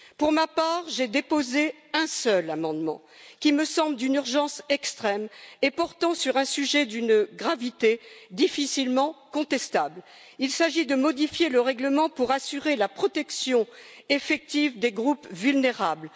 Pour ma part, j'ai déposé un seul amendement, qui me semble d'une urgence extrême et qui porte sur un sujet d'une gravité difficilement contestable il s'agit de modifier le règlement pour assurer la protection effective des groupes vulnérables.